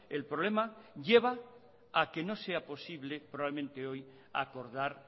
el problema lleva a que no sea posible probablemente hoy a acordar